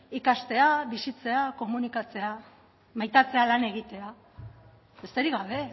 ikastea bizitzea komunikatzea maitatzea lan egitea besterik gabe